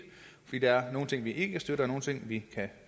fordi der er nogle ting vi ikke kan støtte og nogle ting vi kan